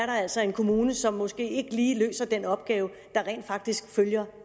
altså er en kommune som måske ikke lige løser den opgave der rent faktisk følger